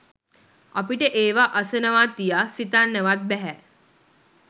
අපිට ඒවා අසනවා තියා සිතන්නවත් බැහැ.